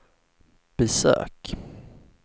besök